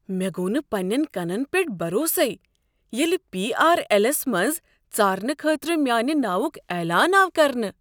مےٚ گو نہٕ پننٮ۪ن کنن پٮ۪ٹھ بھروسٕے ییٚلہ پی۔ آر۔ ایلس منٛز ژارنہٕ خٲطرٕ میانِہ ناوک اعلان آو کرنہٕ۔